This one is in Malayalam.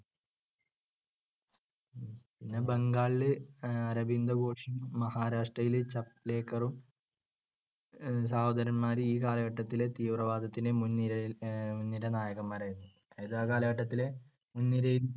പിന്നെ ബംഗാളിലെ അരബിന്ദ് ഘോഷും മഹാരാഷ്ട്രയിലെ ചാപ്ലെകരും സഹോദരന്മാർ ഈ കാലഘട്ടത്തിൽ തീവ്രവാദത്തിന് മുൻനിരയിൽ മുൻനിര നായകന്മാരായിരുന്നു. അതായത് ആ കാലഘട്ടത്തിൽ മുൻനിരയിൽ